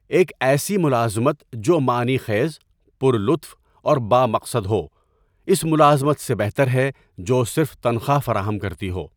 ایک ایسی ملازمت جو معنی خیز، پُر لطف اور بامقصد ہو اس ملازمت سے بہتر ہے جو صرف تنخواہ فراہم کرتی ہو۔